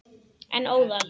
En óðal.